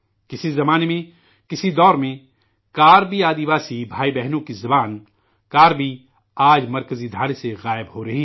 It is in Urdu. کسی زمانہ میں کسی عہد میں 'کربی قبائلی بھائی بہنوں کی زبان 'کربی'آج قومی دھارے سے غائب ہو رہی ہے